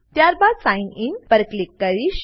ત્યારબાદ sign in પર click કરીશ